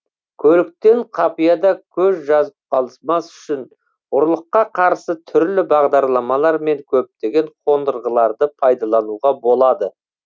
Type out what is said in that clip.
көліктен қапияда көз жазып қалмас үшін ұрлыққа қарсы түрлі бағдарламалар мен көптеген қондырғыларды пайдалануға болады